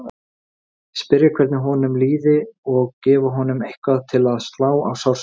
Spyrja hvernig honum liði og gefa honum eitthvað til að slá á sársaukann.